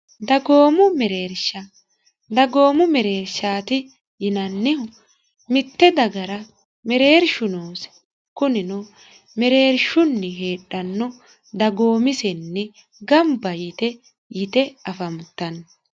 dagoomu mereersha dagoomu mereershaati yinannihu mitte dagara mereershu noosi kunino mereershunni heedhanno dagoomisenni gamba yite yite afantanno